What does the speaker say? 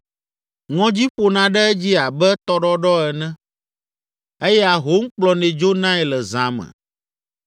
Ŋɔdzi ƒona ɖe edzi abe tɔɖɔɖɔ ene eye ahom kplɔnɛ dzonae le zã me.